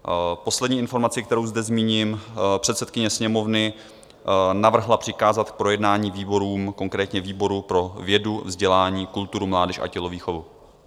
Poslední informaci, kterou zde zmíním: předsedkyně Sněmovny navrhla přikázat k projednání výborům, konkrétně výboru pro vědu, vzdělání, kulturu, mládež a tělovýchovu.